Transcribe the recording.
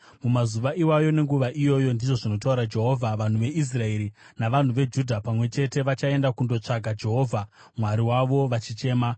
“Mumazuva iwayo, nenguva iyoyo,” ndizvo zvinotaura Jehovha, “vanhu veIsraeri navanhu veJudha pamwe chete vachaenda kundotsvaka Jehovha Mwari wavo vachichema.